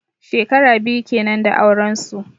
Shekara biyu kenan da auren su.